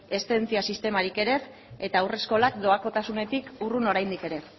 eszedentzia sistemarik ere ez eta haurreskolak doakotasunetik urrun oraindik ere